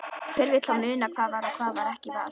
Hver vill þá muna hvað var og hvað ekki var.